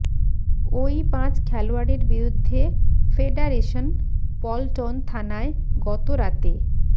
ওই পাঁচ খেলোয়াড়ের বিরুদ্ধে ফেডারেশন পল্টন থানায় গত রাতে